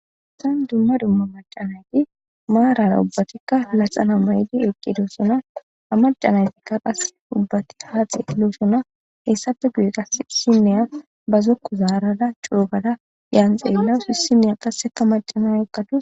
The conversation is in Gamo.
Issan dumma dumma macanayti maarara ubbatikka laxana may'di eqqidossona a macanaytikka qas ubbati haa xelossona hessafe guye qasineya ba zokku zaarada cuugada yaan xeellawusi sineya qasseka macana eqqatu.